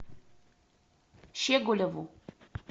щеголеву